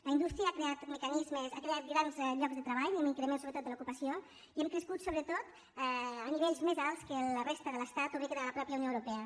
la indústria ha creat mecanismes ha creat grans llocs de treball hi ha un increment sobretot de l’ocupació i hem crescut sobretot a nivells més alts que la resta de l’estat o bé que de la mateixa unió europea